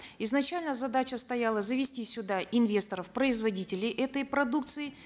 изначально задача стояла завести сюда инвесторов производителей этой продукции